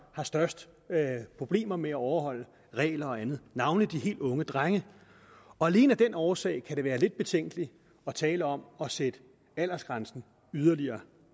har størst problemer med at overholde regler og andet navnlig de helt unge drenge alene af den årsag kan det være lidt betænkeligt at tale om at sætte aldersgrænsen yderligere